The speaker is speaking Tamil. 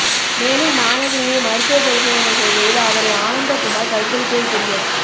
மேலும் மாணவியை மருத்துவ பரிசோதனை செய்ததில் அவரை ஆனந்த குமார் கற்பழித்தது தெரிய